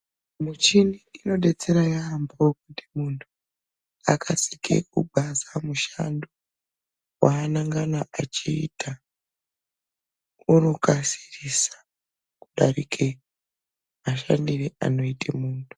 Michini inodetsera yaambo muntu akasike kugwaza mushando wanangana achiita .Unokasirisa kudarike mashandire anoite muntu.